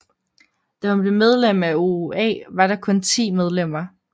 Da hun blev medlem af OOA var der kun 10 medlemmer